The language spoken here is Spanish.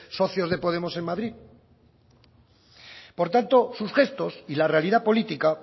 socios de podemos en madrid por tanto sus gestos y la realidad política